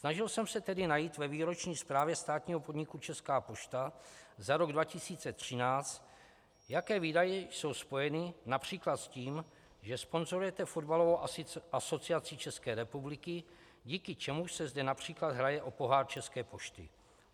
Snažil jsem se tedy najít ve výroční zprávě státního podniku Česká pošta za rok 2013, jaké výdaje jsou spojeny například s tím, že sponzorujete Fotbalovou asociaci České republiky, díky čemuž se zde například hraje o pohár České pošty.